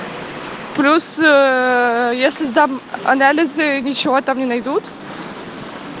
плюс если сдам анализы ничего там не найдут